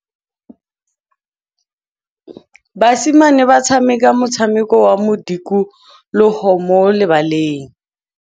Basimane ba tshameka motshameko wa modikologô mo lebaleng.